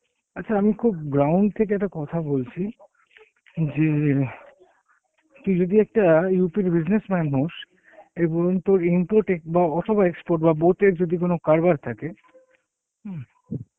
আচ্ছা আমি খুব ground থেকে একটা কথা বলছি, যে... তুই যদি একটা আ UP র businessman হস, এবং তোর import অথবা export বা both এর যদি কোনো কারবার থাকে হম